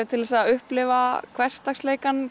til að upplifa hversdagsleikann